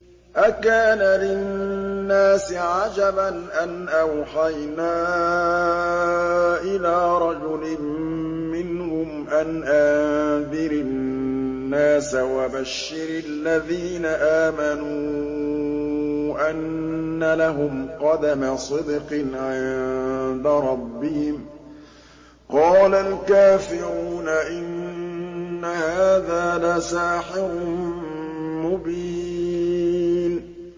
أَكَانَ لِلنَّاسِ عَجَبًا أَنْ أَوْحَيْنَا إِلَىٰ رَجُلٍ مِّنْهُمْ أَنْ أَنذِرِ النَّاسَ وَبَشِّرِ الَّذِينَ آمَنُوا أَنَّ لَهُمْ قَدَمَ صِدْقٍ عِندَ رَبِّهِمْ ۗ قَالَ الْكَافِرُونَ إِنَّ هَٰذَا لَسَاحِرٌ مُّبِينٌ